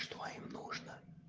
что им нужно